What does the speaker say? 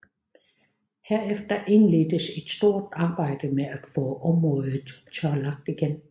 Herefter indledtes et stort arbejde med at få området tørlagt igen